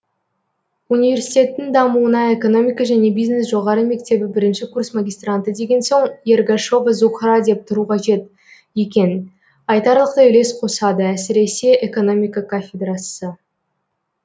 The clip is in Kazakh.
университеттің дамуына экономика және бизнес жоғары мектебі бірінші курс магистранты деген соң ергашова зухра деп тұру қажет екен айтарлықтай үлес қосады әсіресе экономика кафедрасы